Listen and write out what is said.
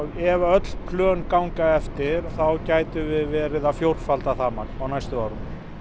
ef öll plön ganga eftir þá gætum við verið að fjórfalda það magn á næstu árum